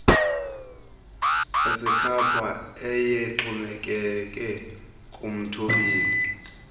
asekhapha ayexhomekeke kumthobeli